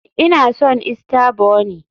Ina son Easter bunny